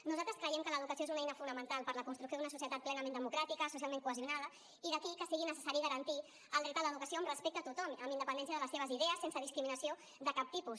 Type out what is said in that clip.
nosaltres creiem que l’educació és una eina fonamental per a la construcció d’una societat plenament democràtica socialment cohesionada i d’aquí que sigui necessari garantir el dret a l’educació amb respecte a tothom amb independència de les seves idees sense discriminació de cap tipus